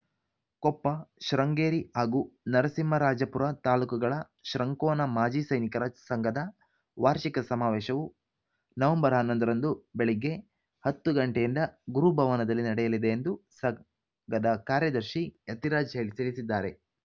ಕೊಪ್ಪ ಶೃಂಗೇರಿ ಹಾಗೂ ನರಸಿಂಹರಾಜಪುರ ತಾಲೂಕುಗಳ ಶೃಂಕೋನ ಮಾಜಿ ಸೈನಿಕರ ಸಂಘದ ವಾರ್ಷಿಕ ಸಮಾವೇಶವು ನವೆಂಬರ್ ಹನ್ನೊಂದರಂದು ಬೆಳಗ್ಗೆ ಹತ್ತು ಗಂಟೆಯಿಂದ ಗುರು ಭವನದಲ್ಲಿ ನಡೆಯಲಿದೆ ಎಂದು ಸಂಘದ ಕಾರ್ಯದರ್ಶಿ ಯತಿರಾಜ್‌ ತಿಳಿಸಿದ್ದಾರೆ